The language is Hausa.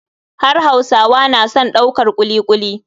Har hausawa na son daukar kuli kuli.